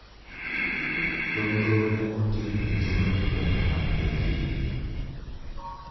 Nonrono ne otim e jumbe mokwongo mag April.